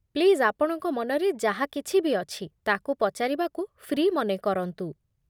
Please ଆପଣଙ୍କ ମନରେ ଯାହା କିଛି ବି ଅଛି ତା'କୁ ପଚାରିବାକୁ ଫ୍ରି ମନେ କରନ୍ତୁ ।